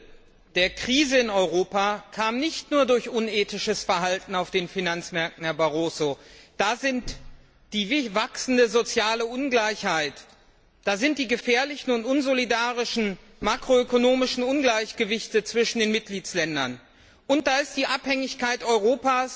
Herr Präsident! Die Tiefe der Krise in Europa kam nicht nur durch unethisches Verhalten auf den Finanzmärkten, Herr Barroso. Da sind die wachsende soziale Ungleichheit, die gefährlichen und unsolidarischen makroökonomischen Ungleichgewichte zwischen den Mitgliedstaaten, und da ist die Abhängigkeit Europas